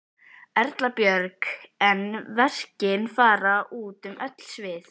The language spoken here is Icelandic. Erla Björg: En verkin fara út um öll svið?